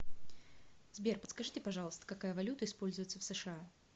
сбер подскажите пожалуйста какая валюта используется в сша